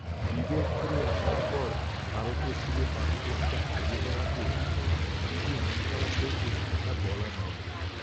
বিদেশ ঘুরে আসার পর ভারতে ফিরে পাসপোর্টটা হারিয়ে যাওয়াতে আমার কী যে মনখারাপ হয়েছে তা বলার নয়।